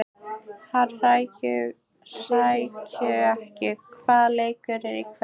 Hrærekur, hvaða leikir eru í kvöld?